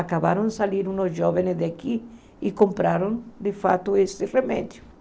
Acabaram de sair uns jovens daqui e compraram de fato esse remédio.